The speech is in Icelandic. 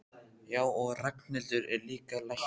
Já, og Ragnhildur er líka læknir.